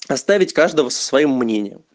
оставить каждого со своим мнением